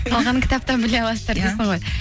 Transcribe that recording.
қалғанын кітаптан біле аласыздар дейсің ғой